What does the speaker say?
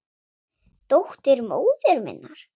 Dóttir móður minnar?